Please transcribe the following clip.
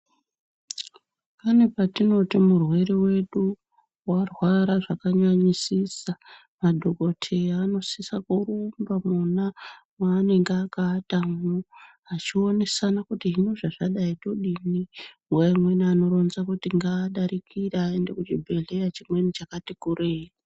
Pane patinoti murwere wedu warwara zvakanyanyisisa madhokodheya anosisa kurumba kwona kwaanenge akawatamwo. Achionesana kuti hino zvazvadai todini nguwa imweni anoronza kuti ngaadarikire aende kuchibhedhleya chimweni chakati kureyi.